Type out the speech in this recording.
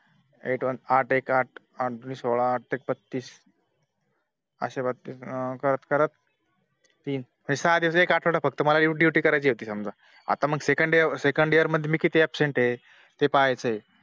ए आठ एक आठ दुणे सोळा आठ त्रिक बत्तीस अशे बत्तीस करता करत तीन म्हणजे सहा दिवस एक आठवडा मला Duty कार्याची होती समझ आता Second year मध्ये मी किती Abcent आहे ते पाहायचं आहे